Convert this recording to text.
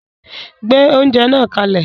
Gbé oúnjẹ náà kalẹ̀